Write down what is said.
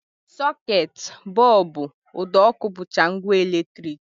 Socket, bọlbụ, ụdọọkụ, bụcha ngwa eletrik